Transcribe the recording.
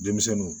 Denmisɛnninw